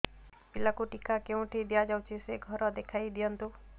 ପିଲାକୁ ଟିକା କେଉଁଠି ଦିଆଯାଉଛି ସେ ଘର ଦେଖାଇ ଦିଅନ୍ତୁ